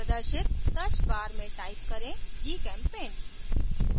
प्रदर्शित search bar में type करें gchempaint